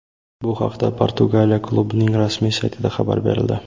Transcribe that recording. Bu haqda Portugaliya klubining rasmiy saytida xabar berildi .